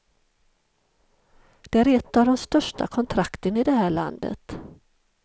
Det är ett av de större kontrakten i det här landet.